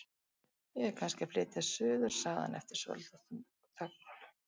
Ég er kannski að flytja suður- sagði hann eftir svolitla þögn.